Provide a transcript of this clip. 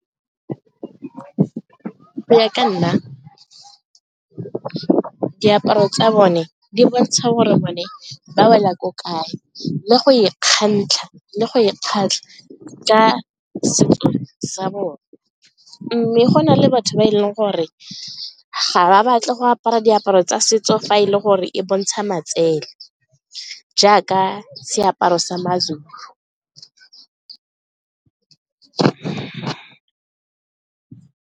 Go ya ka nna diaparo tsa bone di bontsha gore bone ba wela ko kae le go ikgantsha le go e ka setso sa bone mme go na le batho ba e leng gore ga ba batle go apara diaparo tsa setso fa e le gore e bontsha matsele jaaka seaparo sa ma-Zulu.